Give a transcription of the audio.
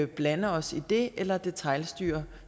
blande os i det eller detailstyre